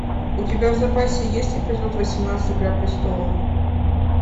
у тебя в запасе есть эпизод восемнадцать игра престолов